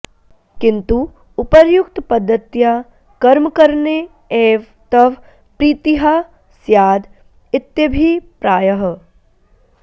किन्तु उपर्युक्तपद्धत्या कर्मकरणे एव तव प्रीतिः स्याद् इत्यभिप्रायः